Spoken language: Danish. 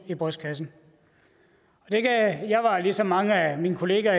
i brystkassen jeg var ligesom mange af mine kollegaer